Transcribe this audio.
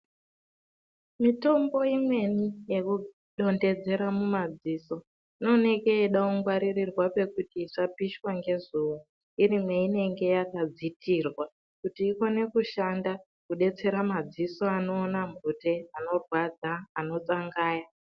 Mitombo imweni yekudonhedzera mumadziso inooneke yeide kungwaririrwa pekuti isapishwe ngezuwa iri mweinenge yakadzitirwa kuti ikone kushanda kudetsera madziso anenge eiona mhute, anorwadza, anotsangaya.